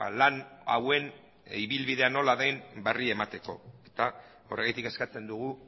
lan hauen ibilbidea nola den berri emateko eta horregatik eskatzen dugu